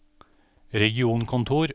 regionkontor